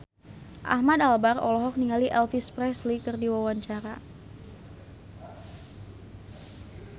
Ahmad Albar olohok ningali Elvis Presley keur diwawancara